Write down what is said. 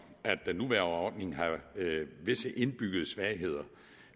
at den nuværende ordning har visse indbyggede svagheder